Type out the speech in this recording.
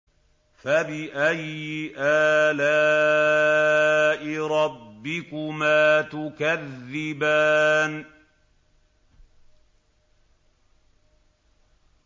فَبِأَيِّ آلَاءِ رَبِّكُمَا تُكَذِّبَانِ